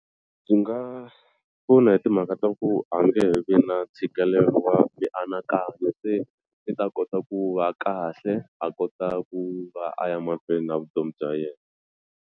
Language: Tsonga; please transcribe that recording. Byi nga pfuna hi timhaka ta ku a nge vi na ntshikelelo wa mianakanyo se i ta kota ku va kahle a kota ku va a ya mahlweni na vutomi bya yena.